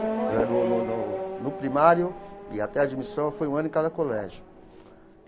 Depois. Era no no no no primário e até a admissão foi um ano em cada colégio.